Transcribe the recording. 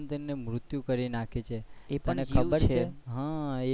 જીવન માં મૃતયુ કરી નાખે છે એ પણ ખબર છે,